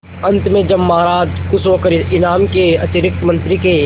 अंत में जब महाराज खुश होकर इनाम के अतिरिक्त मंत्री के